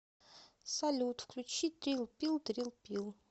салют включи трил пил трил пил